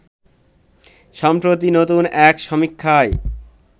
সম্প্রতি নতুন এক সমীক্ষায়